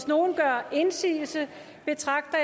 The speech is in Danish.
nogen gør indsigelse betragter